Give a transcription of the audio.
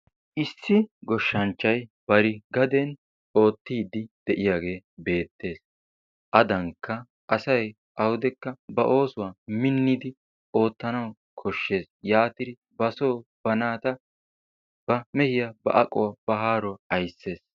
Issi goshshanchchay bari gaden ottidi de'iyage beetees. Adanka asay awudekka ba oosuwa minnidi ottanawu koshshees. Yaatidi ba so ba naata ba meehiya ba aquwaa ba haaruwa aysees.